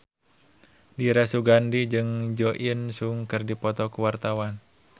Dira Sugandi jeung Jo In Sung keur dipoto ku wartawan